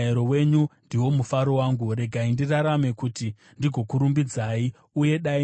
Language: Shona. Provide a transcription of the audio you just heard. Regai ndirarame kuti ndigokurumbidzai, uye dai mirayiro yenyu yandibatsira.